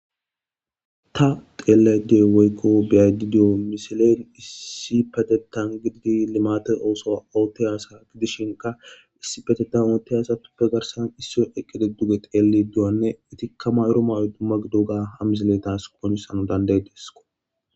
Ta xeellayda diyoy woykko be'ayda diyo misiley issippetettan gididi limaate oosuwa oottiya asa gidishinkka issippetettan oottiya asatuppe garssan issoy eqqidi duge xeellidi diyowanne etikka mayidi diyo mayoy dumma gidoga ha misiley tas qonccisanaw danda'ides.